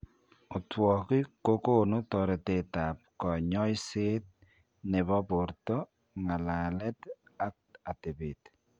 Otwogik kogonu toretet ab kanyoiseet, nebo borto, ng'alalet ak atebet